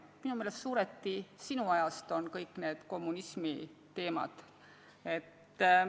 Minu meelest on kõik need kommunismiteemad suuresti sinu ajast pärit.